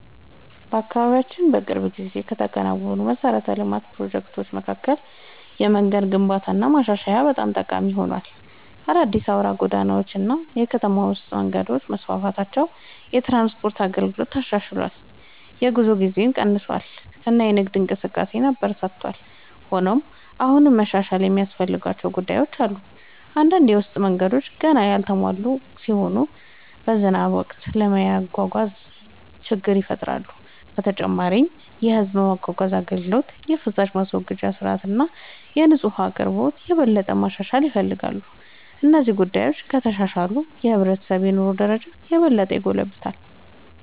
በአካባቢያችን በቅርብ ጊዜ ከተከናወኑ የመሠረተ ልማት ፕሮጀክቶች መካከል የመንገድ ግንባታና ማሻሻያ በጣም ጠቃሚ ሆኗል። አዳዲስ አውራ ጎዳናዎች እና የከተማ ውስጥ መንገዶች መስፋፋታቸው የትራንስፖርት አገልግሎትን አሻሽሏል፣ የጉዞ ጊዜን ቀንሷል እና የንግድ እንቅስቃሴን አበረታቷል። ሆኖም አሁንም መሻሻል የሚያስፈልጉ ጉዳዮች አሉ። አንዳንድ የውስጥ መንገዶች ገና ያልተሟሉ ሲሆኑ በዝናብ ወቅት ለመጓጓዝ ችግር ይፈጥራሉ። በተጨማሪም የሕዝብ ማጓጓዣ አገልግሎት፣ የፍሳሽ ማስወገጃ ሥርዓት እና የንጹህ ውኃ አቅርቦት የበለጠ መሻሻል ይፈልጋሉ። እነዚህ ጉዳዮች ከተሻሻሉ የሕብረተሰቡ የኑሮ ደረጃ የበለጠ ይጎለብታል።